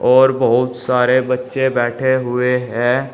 और बहुत सारे बच्चे बैठे हुए हैं।